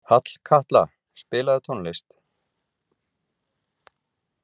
Hallkatla, spilaðu tónlist.